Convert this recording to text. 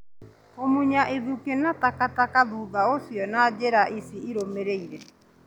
Kũmunya ithukĩ na taka taka thutha ũcio na njĩra ici irũmĩrĩire